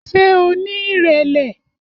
Ṣé o ní ìrẹ̀lẹ̀?